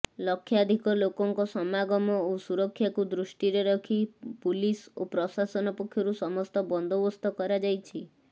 ଲକ୍ଷାଧିକ ଲୋକଙ୍କ ସମାଗମ ଓ ସୁରକ୍ଷାକୁ ଦୃଷ୍ଟିରେ ରଖି ପୁଲିସ୍ ଓ ପ୍ରଶାସନ ପକ୍ଷରୁ ସମସ୍ତ ବନ୍ଦୋବସ୍ତ କରାଯାଇଛି